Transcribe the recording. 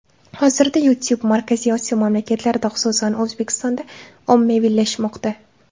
Hozirda YouTube Markaziy Osiyo mamlakatlarida, xususan, O‘zbekistonda ommaviylashmoqda.